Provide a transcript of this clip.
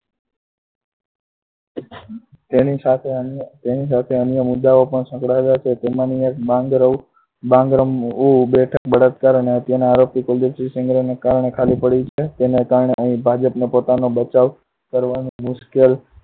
તેની સાથે અન્ય મુદ્દા પણ સંકળાયેલા છે જેમાંની એક બાંગર બેઠક બળાત્કાર અને હત્યાના આરોપી કુલદીપસિંહ ના કારણે ખાલી પડી છે. જેના કારણે અહી ભાજપ પોતાને બચાવ કરવા માટે મુશ્કેલ